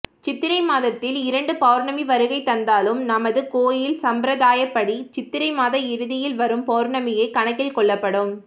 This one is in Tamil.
சித்திரை மாதத்தில் இரண்டு பௌர்ணமி வருகைதந்தாலும் நமது கோவில் சம்பிரதாயப்படி சித்திரை மாத இறுதியில் வரும் பௌர்ணமியே கணக்கில் கொள்ளப்படும்